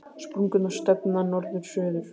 Sprungurnar stefna norður-suður.